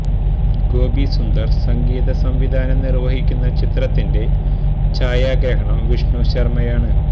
ഗോപി സുന്ദര് സംഗീത സംവിധാനം നിര്വഹിക്കുന്ന ചിത്രത്തിന്റെ ഛായാഗ്രഹണം വിഷ്ണു ശര്മ്മയാണ്